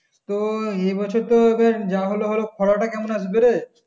তো এবছর তো এবার যা হবার হলো খরাটা কেমন আসবে রে